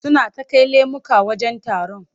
Suna ta kai lemuka wajen taron.